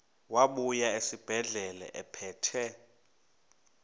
wabuya esibedlela ephethe